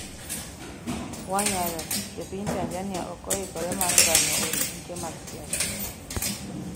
wanyalo: Jopiny Tanzania ok oikore mar ngany'o od buche mag siasa